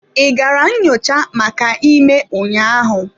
I gara nyochaa maka ime ụnyaahụ?